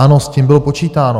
Ano, s tím bylo počítáno.